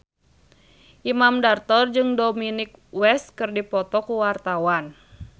Imam Darto jeung Dominic West keur dipoto ku wartawan